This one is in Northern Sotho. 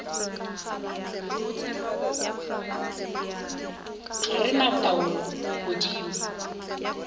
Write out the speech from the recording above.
ga re na taolo godimo